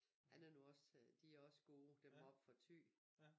Han er nu også de er også gode dem oppe fra Thy